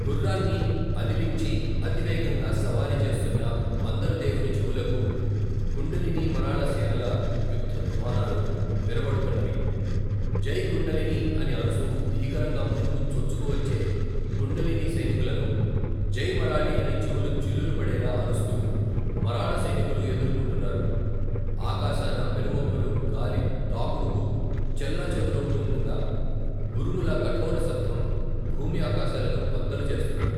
గుర్రాన్ని అదిలించి అతివేగంగా సవారి చేస్తున్న మందరదేవుని చెవులకు కుండలినీ మరాళసేనల యుద్ధధ్వానాలు వినబడుతున్నవి జై కుండలినీ అని అరుస్తూ భీకరంగా ముందుకు చొచ్చుకు వచ్చే కుండలినీ సైనికులను జై మరాళీ అని చెవులు చిల్లులు పడేలా అరుస్తూ మరాళ సైనికులు ఎదుర్కొంటున్నారు ఆకాశాన పెనుమబ్బులు గాలి తాకుడుకు, చెల్లా చెదరవుతూండగా ఉరుముల కఠోర శబ్దం భూమ్యాకాశాలను బద్దలు చేస్తున్నది.